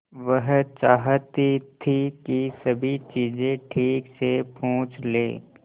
वह चाहती थी कि सभी चीजें ठीक से पूछ ले